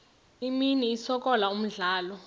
imini isikolo umdlalo